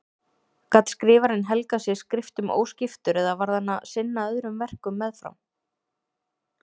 Gat skrifarinn helgað sig skriftum óskiptur eða varð hann að sinna öðrum verkum meðfram?